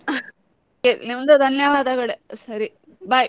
ನಿಮಗೂ ಧನ್ಯವಾದಾಗಳೆ ಸರಿ bye .